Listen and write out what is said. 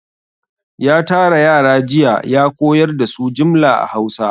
Ya tara yara jiya ya koyar da su jimla a Hausa.